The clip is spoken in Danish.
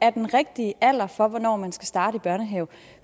er den rigtige alder for hvornår man skal starte i børnehave